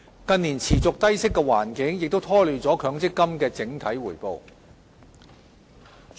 近年持續的低息環境亦拖累了強積金的整體回報。